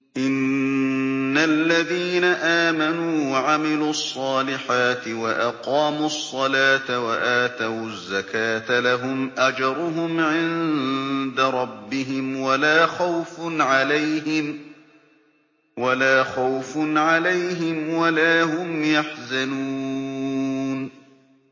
إِنَّ الَّذِينَ آمَنُوا وَعَمِلُوا الصَّالِحَاتِ وَأَقَامُوا الصَّلَاةَ وَآتَوُا الزَّكَاةَ لَهُمْ أَجْرُهُمْ عِندَ رَبِّهِمْ وَلَا خَوْفٌ عَلَيْهِمْ وَلَا هُمْ يَحْزَنُونَ